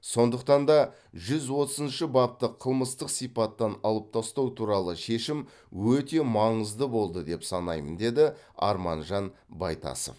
сондықтан да жүз отызыншы бапты қылмыстық сипаттан алып тастау туралы шешім өте маңызды болды деп санаймын деді арманжан байтасов